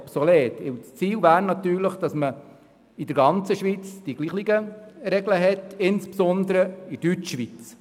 Das Ziel ist natürlich, dass man in der ganzen Schweiz dieselben Regeln hat, zumindest in der Deutschschweiz.